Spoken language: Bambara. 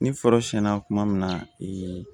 Ni foro siɲɛna tuma min na